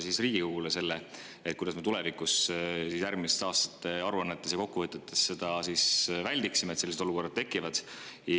Kuidas me väldiksime seda, et tulevikus, järgmiste aastate aruannetes ja kokkuvõtetes sellistest olukordadest?